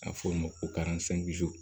A bɛ fɔ o ma ko